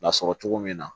Lasɔrɔ cogo min na